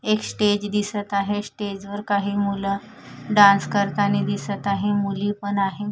एक स्टेज दिसत आहे स्टेजवर काही मुलं डान्स करतानी दिसत आहे मुली पण आहे.